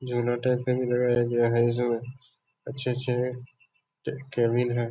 झरना टाइप का भी लगाया गया है जो अच्छे-अच्छे एक केबिन है।